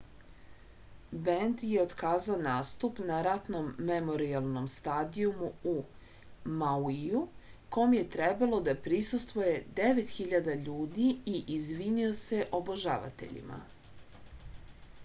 bend je otkazao nastup na ratnom memorijalnom stadijumu u mauiju kom je trebalo da prisustvuje 9000 ljudi i izvinio se obožavateljima